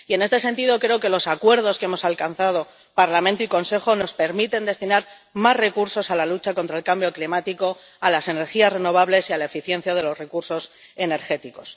Y, en este sentido, creo que los acuerdos que hemos alcanzado Parlamento y Consejo nos permiten destinar más recursos a la lucha contra el cambio climático, a las energías renovables y a la eficiencia de los recursos energéticos.